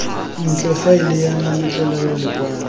ntle faele ya mametlelelo lekwalo